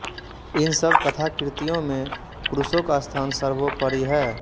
इन सब कथाकृतियों में क्रूसो का स्थान सर्वोपरि है